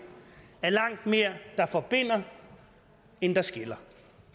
er langt mere der forbinder end der skiller